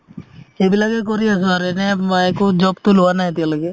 সেইবিলাকে কৰি আছো আৰু এনে একো job তো লোৱা নাই এতিয়ালৈকে